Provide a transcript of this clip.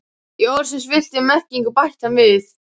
Í orðsins fyllstu merkingu, bætti hann við.